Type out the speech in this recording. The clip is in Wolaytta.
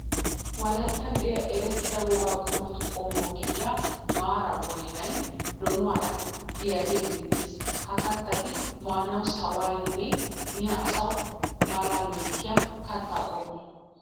Wolayttan de'iya erettida wogaa qumatu qommo gidiya mara boyinay donuwaara de'iyagee beettees. Ha kattati maanawu sawiyanne miya asawu malaa loyttiya katta qommo.